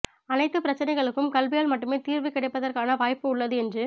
அனைத்து பிரச்னைகளுக்கும் கல்வியால் மட்டுமே தீர்வு கிடைப்பதற்கான வாய்ப்பு உள்ளது என்று